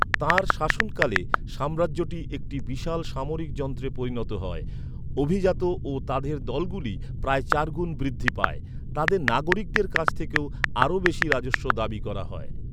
তাঁর শাসনকালে, সাম্রাজ্যটি একটি বিশাল সামরিক যন্ত্রে পরিণত হয়। অভিজাত ও তাদের দলগুলি প্রায় চারগুণ বৃদ্ধি পায়। তাদের নাগরিকদের কাছ থেকেও আরও বেশি রাজস্ব দাবি করা হয়।